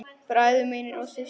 Bræður mínir og systur.